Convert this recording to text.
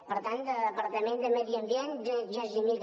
per tant de departament de medi ambient gens ni mica